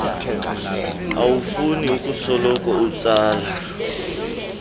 awufuni ukusoloko utsala